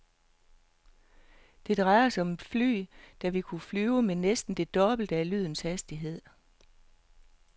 Det drejer sig om et fly, som vil kunne flyve med næsten det dobbelte af lydens hastighed.